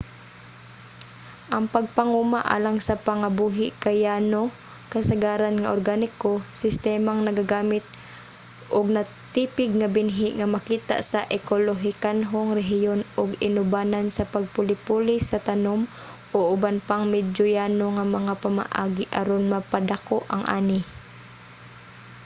ang pagpanguma alang sa pangabuhi kay yano kasagaran nga organiko sistemang nagagamit og natipig nga binhi nga makita sa ekolohikanhong rehiyon ug inubanan sa pagpuli-puli sa tanum o uban pang medyo yano nga mga pamaagi aron mapadako ang ani